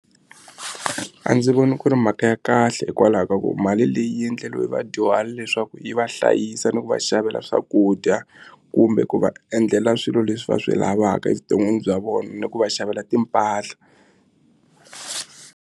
A ndzi voni ku ri mhaka ya kahle hikwalaho ka ku mali leyi yi endleliwe vadyuhari leswaku yi va hlayisa ni ku va xavela swakudya kumbe ku va endlela swilo leswi va swi lavaka evuton'wini bya vona ni ku va xavela timpahla.